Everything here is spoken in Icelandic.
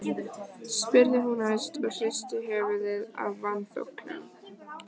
spurði hún æst og hristi höfuðið af vanþóknun.